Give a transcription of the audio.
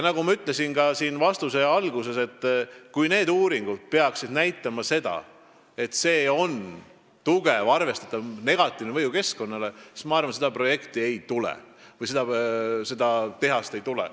Nagu ma juba oma vastuse alguses ütlesin, kui mis tahes uurimus peaks näitama seda, et tehasel on tugev arvestatav negatiivne mõju keskkonnale, siis ma arvan, et seda projekti ei tule.